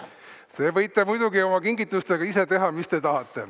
Te võite muidugi oma kingitustega teha, mis te tahate.